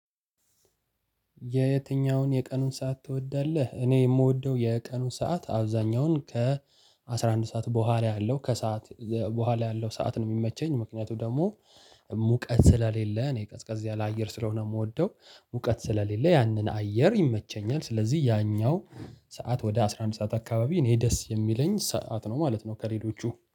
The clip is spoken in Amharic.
የየትኛውን የቀኑን ሰዓት ትወዳለህ? እኔ የምወደው የቀኑ ሰዓት አብዛኛውን ከ አስራ አንድ ሰዓት በኋላ ያለው ከሰአት በኋላ ያለው ሰዓት ነው የሚመቸኝ። ምክንያቱ ደግሞ ሙቀት ስለሌለ እኔ ቀዝቀዝ ያለ አየር ስለሆነ የምወደው ሙቀት ስለሌለ ያንን አየር ይመቸኛል። ስለዚህ ያኛው ሰዓት ወደ አስራ አንድ ሰዓት አካባቢ እኔ ደስ የሚለኝ ሰዓት ነው ማለት ነው። ከሌሎቹ